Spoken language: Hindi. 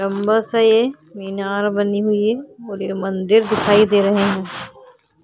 लंबा से मीनार बनी हुई है। पूरी मंदिर दिखाई दे रहे हैं।